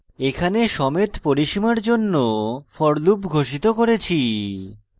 এখানে সমেত পরিসীমার জন্য for loop ঘোষিত করেছি